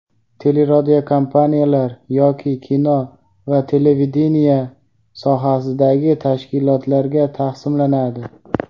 teleradiokompaniyalar yoki kino va televideniye sohasidagi tashkilotlarga taqsimlanadi.